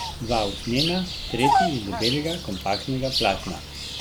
Dva usnjena, tretji iz debelega kompaktnega platna.